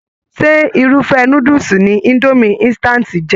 Ṣe irufẹ núdúsí ní Idomi insitati jẹ?